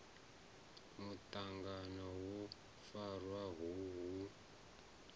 muṱangano wo farwaho hu u